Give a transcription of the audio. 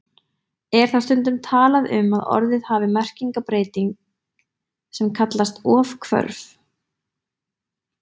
Er þá stundum talað um að orðið hafi merkingarbreyting sem kallast ofhvörf.